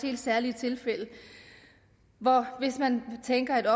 helt særlige tilfælde hvor man tænker at